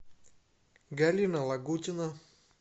галина лагутина